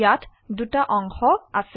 ইয়াত দুটা অংশ আছে